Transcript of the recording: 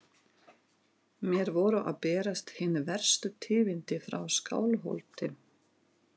Mér voru að berast hin verstu tíðindi frá Skálholti.